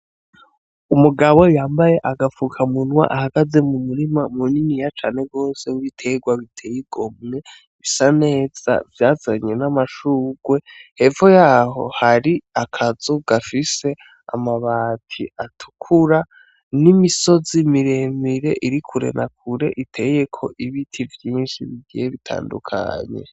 Umugabo yambaye agafukamunwa ahagaze mumurima muniniya cane w'ibitegwa biteye igomwe bisa neza vyazanye n'amashugwe. Hepfo yaho hari akazu gafise amabati atukura n'imisozi miremire iri kure na kure iteyeko ibiti vyinshi bigiye bitandukanye.